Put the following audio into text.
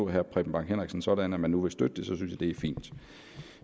herre preben bang henriksen sådan at man nu vil støtte det synes jeg det er fint